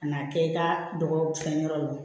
Ka n'a kɛ i ka dɔgɔ fɛn yɔrɔ la